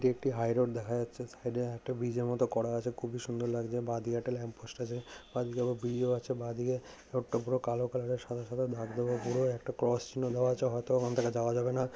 এটি একটি high road দেখা যাচ্ছে সাইড এ একটা ব্রীজ এর মত করা আছে খুবই সুন্দর লাগছে বা দিকে একটা ল্যাম্প পোস্ট আছে বাঁ দিকে আবার ব্রিজ ও আছে বাঁ দিকে এক টুকরো কালো কালার এর সাদা সাদা ধপধপে পুরো একটা ক্রস চিহ্ন দেওয়া আছে হয়তো ওখান থেকে যাওয়া যাবে না।